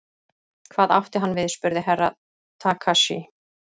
Hvað átti hann við spurði Herra Takashi.